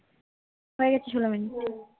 হয়ে গেছে সোলো মিনিট